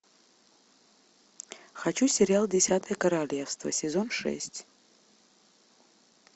хочу сериал десятое королевство сезон шесть